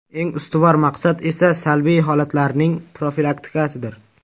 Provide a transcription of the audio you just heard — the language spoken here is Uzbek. Eng ustuvor maqsad esa salbiy holatlarning profilaktikasidir.